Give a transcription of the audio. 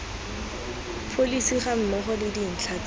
pholesi gammogo le dintlha tse